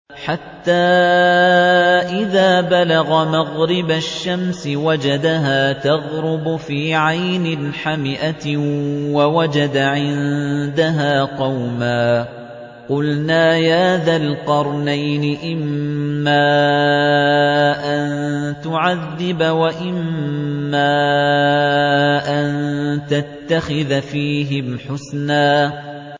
حَتَّىٰ إِذَا بَلَغَ مَغْرِبَ الشَّمْسِ وَجَدَهَا تَغْرُبُ فِي عَيْنٍ حَمِئَةٍ وَوَجَدَ عِندَهَا قَوْمًا ۗ قُلْنَا يَا ذَا الْقَرْنَيْنِ إِمَّا أَن تُعَذِّبَ وَإِمَّا أَن تَتَّخِذَ فِيهِمْ حُسْنًا